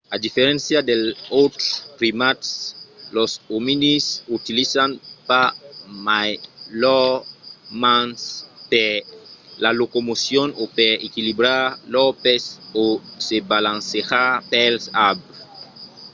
a diferéncia dels autres primats los ominids utilizan pas mai lors mans per la locomocion o per equilibrar lor pes o se balancejar pels arbres